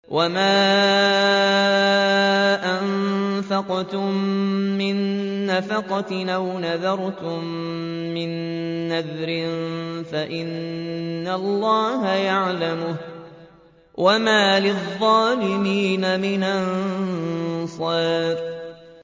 وَمَا أَنفَقْتُم مِّن نَّفَقَةٍ أَوْ نَذَرْتُم مِّن نَّذْرٍ فَإِنَّ اللَّهَ يَعْلَمُهُ ۗ وَمَا لِلظَّالِمِينَ مِنْ أَنصَارٍ